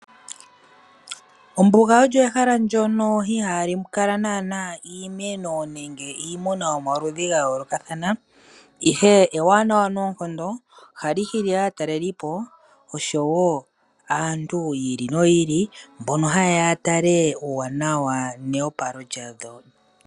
Ombuga olyo ehala ndyono ihali kala nana iimeno nenge iimuna yomaludhi gayoolokathana, ihe ewanawa noonkondo, ohali hili aatalelipo osho wo aantu yi ili noyi ili, mbono haye ya yatale uuwanawa newopalo dha lyo.